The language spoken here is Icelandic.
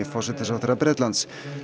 forsætisráðherra Bretlands